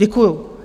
Děkuju.